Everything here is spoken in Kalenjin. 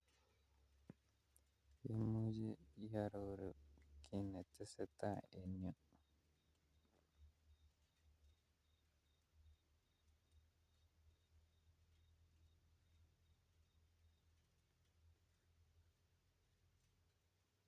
Imuche iororu kiy netesetai en yu?